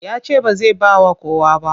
Ya ce ba zai ba wa kowa ba.